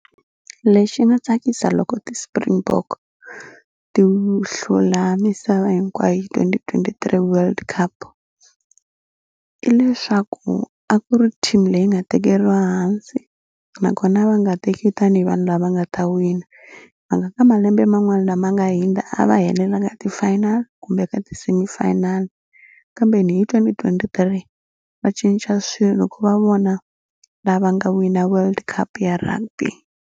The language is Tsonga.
Lexi nga tsakisa loko ti-springbok ti hlula misava hinkwayo twenty twenty three World Cup i leswaku a ku ri team leyi nga tekeriwa hansi nakona va nga teki tanihi vanhu lava nga ta wina va nga ka malembe man'wani lama nga hindza a va helela ka ti final kumbe ka ti semifinal kambe ni hi twenty twenty three va cinca swilo ku va vona lava nga wina World Cup ya rugby.